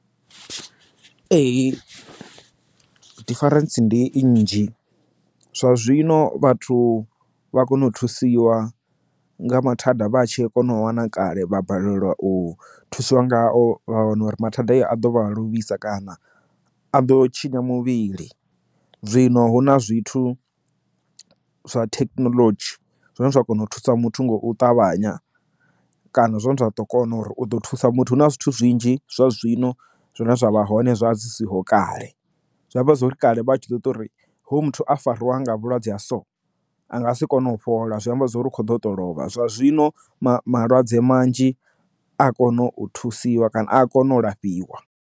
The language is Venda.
Ee difference ndi i nnzhi zwa zwino vhathu vha kona u thusiwa nga mathada vhatshe a kone u wana kale vha balelwa u thusiwa ngayo vha wana uri mathada i a ḓo vha vha lovhisa kana a ḓo tshinya muvhili zwino hu na zwithu zwa thekinoḽodzhi zwine zwa kona u thusa muthu ngo u ṱavhanya kana zwine zwa ḓo kona uri u ḓo thusa muthu hu na zwithu zwinzhi zwa zwino zwine zwa vha hoṋe zwa zwi siho kale zwamba zwa uri kale vha tshi ḓo ita uri hu muthu a farwa nga vhulwadze ha so a nga si kone u fhola zwi amba zwori ikhoḓo to lovha zwa zwino malwadze manzhi a kono u thusiwa kana a kono u lafhiwa.